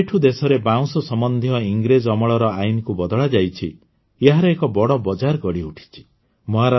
ଯେବେଠୁ ଦେଶରେ ବାଉଁଶ ସମ୍ବନ୍ଧୀୟ ଇଂରେଜ ଅମଳର ଆଇନକୁ ବଦଳାଯାଇଛି ଏହାର ଏକ ବଡ଼ ବଜାର ଗଢ଼ିଉଠିଛି